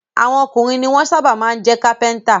Àwọn ọkùnrin ni wọ́n sábà máa jẹ́ Kápẹ́ńtà.